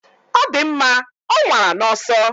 Ọ dị mma, ọ nwara n'ọsọ.